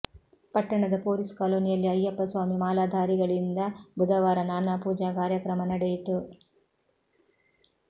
ಪಟ್ಟಣದ ಪೊಲೀಸ್ ಕಾಲೊನಿಯಲ್ಲಿ ಅಯ್ಯಪ್ಪ ಸ್ವಾಮಿ ಮಾಲಾಧಾರಿಗಳಿಂದ ಬುಧವಾರ ನಾನಾ ಪೂಜಾ ಕಾರ್ಯಕ್ರಮ ನಡೆಯಿತು